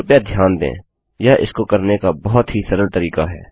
कृपया ध्यान दें यह इसको करने का बहुत ही सरल तरीका है